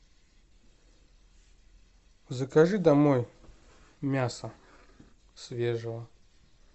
закажи домой мяса свежего